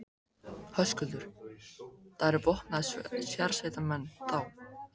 Höskuldur: Það eru vopnaðir sérsveitarmenn, þá?